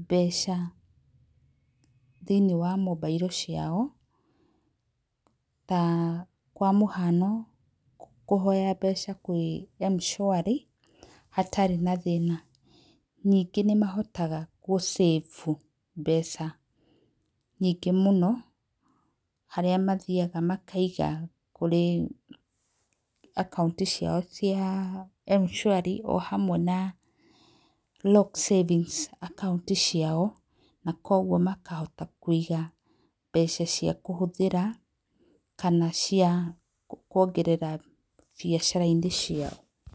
mbeca thĩinĩ wa mobairo ciao na kwa mũhano kũhoya mbeca kwĩ Mshwari hatarĩ na thĩna, ningĩ nĩ mahotaga gũsave mbeca nyingĩ mũno harĩa mathiaga makaiga akaũnti ciao cia Mshwari o hamwe na Lock Savings Account ciao na kwoguo makahota kũiga mbeca cia kũhũthĩra kana cia kwongerera biacara-inĩ ciao.